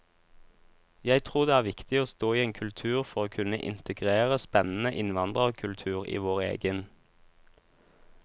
Jeg tror det er viktig å stå i en kultur for å kunne integrere spennende innvandrerkultur i vår egen.